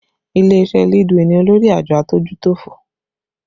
Ilé iṣẹ́ Leadway ni olórí àjọ adójútòfò